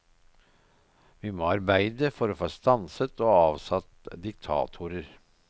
Vi må arbeide for å få stanset og avsatt diktatorer.